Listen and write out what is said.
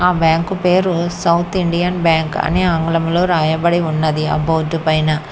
ఆ బ్యాంకు పేరు South Indian Bank అని ఆంగ్లలో రాయబడి ఉన్నది ఆ బోర్డు పైన.